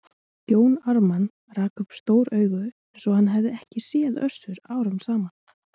Jón Ármann rak upp stór augu eins og hann hefði ekki séð Össur árum saman.